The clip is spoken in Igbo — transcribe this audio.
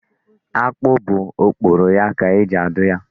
Akpụ bụ okporo ya ka eji adụ ya.